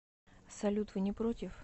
салют вы не против